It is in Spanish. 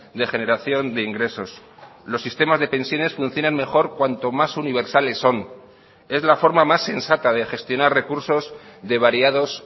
de generación de ingresos los sistemas de pensiones funcionan mejor cuanto más universales son es la forma más sensata de gestionar recursos de variados